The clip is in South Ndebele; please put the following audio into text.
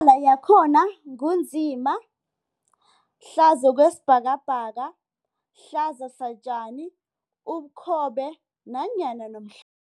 Imibala yakhona ngu nzima, hlaza okwesibhakabhaka, hlaza satjani, ubukhobe kanye nomhlophe.